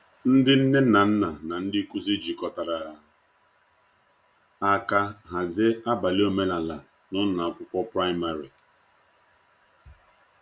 Ndị nne na nna na ndị nkuzi jikọtara aka hazie abalị omenala n’ụlọ akwụkwọ praịmarị.